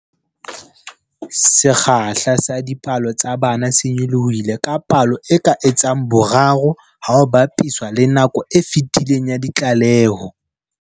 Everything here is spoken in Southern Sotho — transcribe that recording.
Sekgahla sa dipolao tsa bana se nyolohile ka palo e ka etsang boraro ha ho bapiswa le nakong e fetileng ya ditlaleho.